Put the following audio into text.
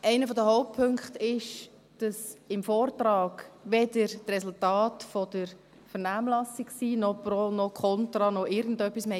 Einer der Hauptpunkte ist, dass im Vortrag dazu weder die Resultate der Vernehmlassung noch Pros, noch Contras noch sonst irgendetwas enthalten sind;